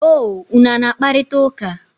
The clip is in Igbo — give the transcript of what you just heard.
O, unu a na-akparịta ụka?